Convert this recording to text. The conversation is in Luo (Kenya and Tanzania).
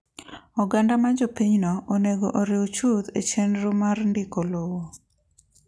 Oganda ma jopinyno onego oriw chuth e chenro mar ndiko lowo.